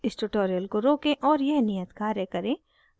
इस tutorial को रोकें और यह नियत कार्य करें